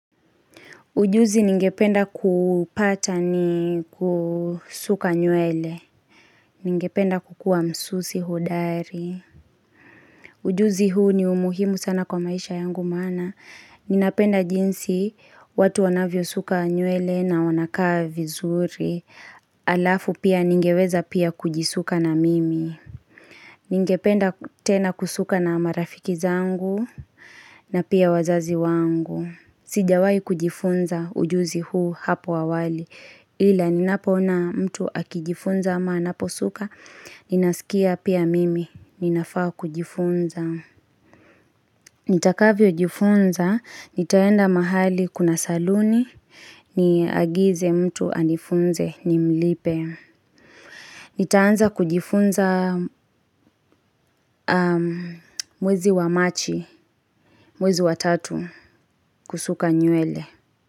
Ujuzi ningependa kuupata ni kusuka nywele. Ningependa kukua msusi hudari. Ujuzi huu ni umuhimu sana kwa maisha yangu maana. Ninapenda jinsi watu wanavyosuka nywele na wanakaa vizuri. Alafu pia ningeweza pia kujisuka na mimi. Ningependa tena kusuka na marafiki zangu na pia wazazi wangu. Sijawai kujifunza ujuzi huu hapo awali, ila ninapoona mtu akijifunza ama anaposuka, ninasikia pia mimi, ninafaa kujifunza. Nitakavyojifunza, nitaenda mahali kuna saluni, niagize mtu anifunze nimlipe. Nitaanza kujifunza mwezi wa machi, mwezi wa tatu, kusuka nywele.